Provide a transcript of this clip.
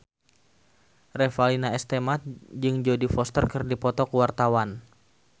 Revalina S. Temat jeung Jodie Foster keur dipoto ku wartawan